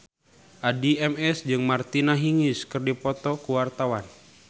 Addie MS jeung Martina Hingis keur dipoto ku wartawan